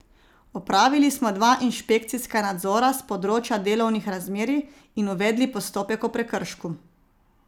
Opravili smo dva inšpekcijska nadzora s področja delovnih razmerij in uvedli postopek o prekršku.